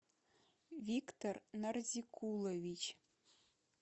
виктор нарзикулович